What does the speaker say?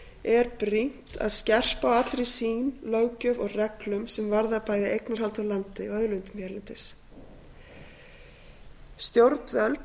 er brýnt að skerpa á allri sýn löggjöf og reglum sem varða bæði eignarhald á landi og auðlindum hérlendis stjórnvöld